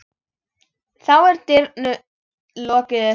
Þá er dyrum lokið upp.